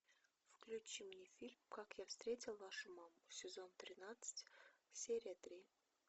включи мне фильм как я встретил вашу маму сезон тринадцать серия три